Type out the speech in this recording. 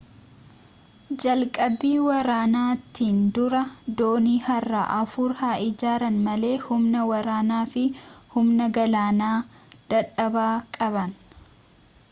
jalqabbii waraanaatiin dura doonii haaraa afur haa ijaaran malee humna waraanaa fi humna galaanaa dadhabaa qaban